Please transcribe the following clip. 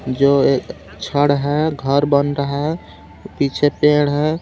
जो एक छड़ है घर बन रहा पीछे पेड़ है।